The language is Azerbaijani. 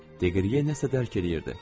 Madmazel Blanşi qalmaq istəyirdi.